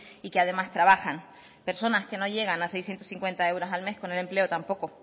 y que además trabajan personas que no llegan a seiscientos cincuenta euros al mes con el empleo tampoco